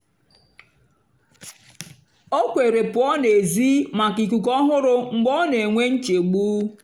ó kwèrè pụ́ọ́ n'èzí màkà íkúkú ọ́hụ̀rụ̀ mgbe ọ́ nà-énwé nchégbù.